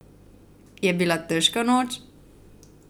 Je bila težka noč?